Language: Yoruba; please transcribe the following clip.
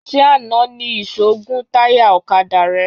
Ṣé àná ni ìṣó gún táyà ọ̀kadà rẹ?